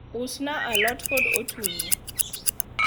usna alot kod otungu